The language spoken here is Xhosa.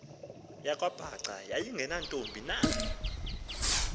yakwabhaca yayingenantombi na